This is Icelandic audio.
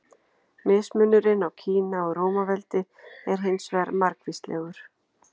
Mismunurinn á Kína og Rómaveldi er hins vegar margvíslegur.